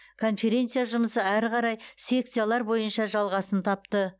конференция жұмысы ары қарай секциялар бойынша жалғасын тапты